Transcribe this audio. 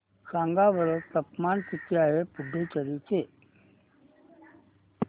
सांगा बरं तापमान किती आहे पुडुचेरी चे